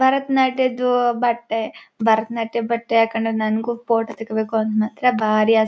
ಭರತ್ ನಾಟ್ಯದ್ದು ಬಟ್ಟೆ ಭರತನಾಟ್ಯದ್ದು ಬಟ್ಟೆ ಹಾಕೊಂಡು ನಂಗು ಫೋಟೋ ತೆಗೀಬೇಕು ಅಂತ ಬಾರಿ ಆಸೆ ಇದೆ.